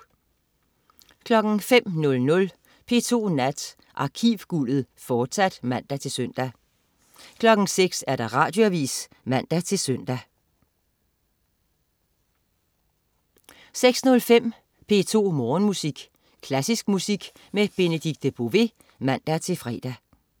05.00 P2 Nat. Arkivguldet, fortsat (man-søn) 06.00 Radioavis (man-søn) 06.05 P2 Morgenmusik. Klassisk musik med Benedikte Bové (man-fre)